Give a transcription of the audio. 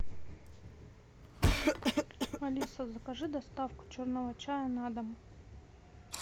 алиса закажи доставку черного чая на дом